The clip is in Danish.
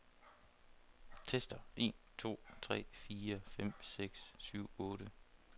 Tester en to tre fire fem seks syv otte.